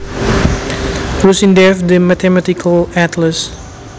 Rusin Dave The Mathematical Atlas